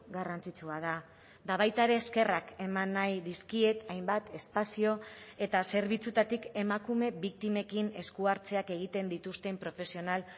garrantzitsua da eta baita ere eskerrak eman nahi dizkiet hainbat espazio eta zerbitzuetatik emakume biktimekin esku hartzeak egiten dituzten profesional